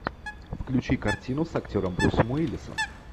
включи картину с актером брюсом уиллисом